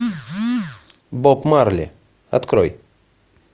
боб марли открой